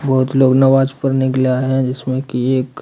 बहोत लोग नमाज पढ़ने के लिए आए है जिसमें की एक--